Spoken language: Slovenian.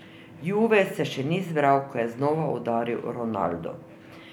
Juve se še ni zbral, ko je znova udaril Ronaldo.